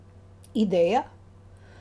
Ideja?